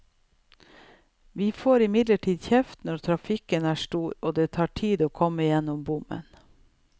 Vi får imidlertid kjeft når trafikken er stor og det tar tid å komme gjennom bommen.